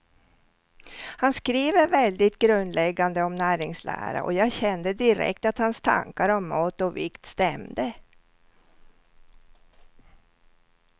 Han skriver väldigt grundläggande om näringslära, och jag kände direkt att hans tankar om mat och vikt stämde.